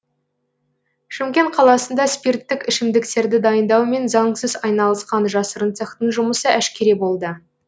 шымкент қаласында спирттік ішімдіктерді дайындаумен заңсыз айналысқан жасырын цехтың жұмысы әшкере болды